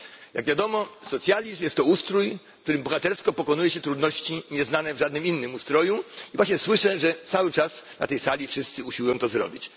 Jak wiadomo, socjalizm jest to ustrój, w którym bohatersko pokonuje się trudności nieznane w żadnym innym ustroju. I właśnie słyszę, że cały czas na tej sali wszyscy usiłują to zrobić.